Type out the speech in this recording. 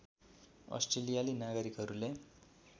अस्ट्रेलियाली नागरिकहरूले